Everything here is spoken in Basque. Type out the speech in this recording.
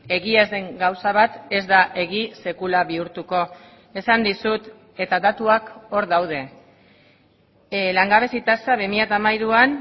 egia ez den gauza bat ez da egia sekula bihurtuko esan dizut eta datuak hor daude langabezi tasa bi mila hamairuan